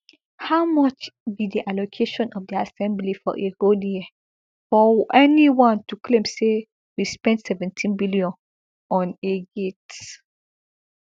how much be di allocation of di assembly for a whole year for anyone to claim say we spend seventeen billion on a gate